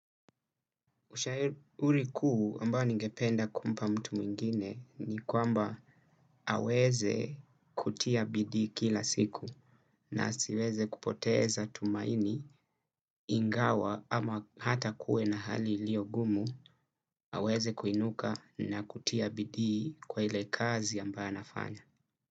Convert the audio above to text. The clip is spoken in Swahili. Ushauri kuu ambayo ningependa kumpa mtu mwingine ni kwamba aweze kutia bidi kila siku na asiweze kupoteza tumaini ingawa ama hata kue na hali ilio ngumu aweze kuinuka na kutia bidii kwa ile kazi ambaye nafanya.